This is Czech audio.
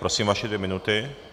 Prosím, vaše dvě minuty.